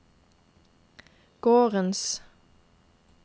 gårdens